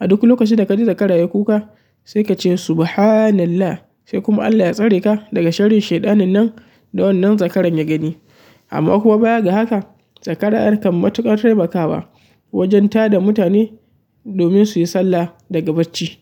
A duk lokacin da ka ji zakara ya kuka sai ka ce subhanallah sai kuma Allah ya tsare ka daga sharrin shaiɗanin nan da wannan zakaran ya gani. Amma kuwa baya ga haka zakara ƴa kan matuƙar taimakawa wajen tada mutane domin su yi sallah daga bacci.